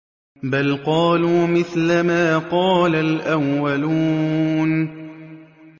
بَلْ قَالُوا مِثْلَ مَا قَالَ الْأَوَّلُونَ